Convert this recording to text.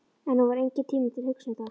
En nú var enginn tími til að hugsa um það.